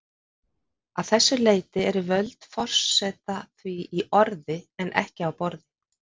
Að þessu leyti eru völd forseta því í orði en ekki á borði.